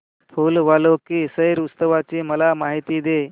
फूल वालों की सैर उत्सवाची मला माहिती दे